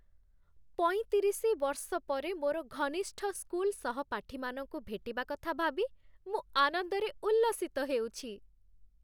ପଇଁତିରିଶି ବର୍ଷ ପରେ ମୋର ଘନିଷ୍ଠ ସ୍କୁଲ୍ ସହପାଠୀମାନଙ୍କୁ ଭେଟିବା କଥା ଭାବି ମୁଁ ଆନନ୍ଦରେ ଉଲ୍ଲସିତ ହେଉଛି।